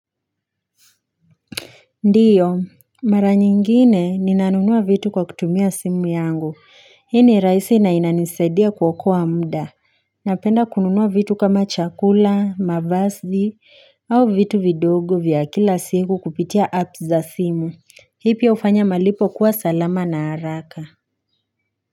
Ndio, mara nyingine ninanunua vitu kwa kutumia simu yangu, hii ni rahisi na inanisaidia kuokoa muda, napenda kununua vitu kama chakula, mavazi, au vitu vidogo vya kila siku kupitia apps za simu, hivyo hufanya malipo kuwa salama na haraka.